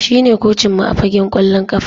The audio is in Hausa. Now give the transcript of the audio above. Shine kocinmu a fagen kwallon kafa